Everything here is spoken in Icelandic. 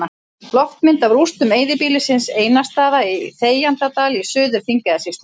Loftmynd af rústum eyðibýlisins Einarsstaða í Þegjandadal í Suður-Þingeyjarsýslu.